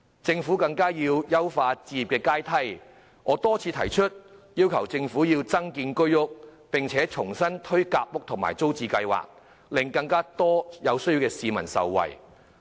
政府亦應優化置業階梯，一如我曾多次提出，增建居屋並重新推行夾心階層住屋計劃和租者置其屋計劃，令更多有需要市民受惠。